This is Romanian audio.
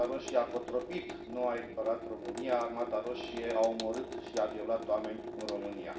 Armata Roșie a cotropit, nu a eliberat România, Armata Roșie a omorât și a violat oameni în România.